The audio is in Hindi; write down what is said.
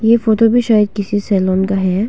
ये फोटो भी शायद किसी सैलून का है।